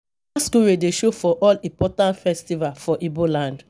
Masqurade dey show for all important festival for Ibo land.